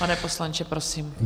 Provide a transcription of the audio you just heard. Pane poslanče, prosím.